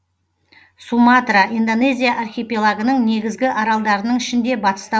суматра индонезия архипелагының негізгі аралдарының ішінде батыста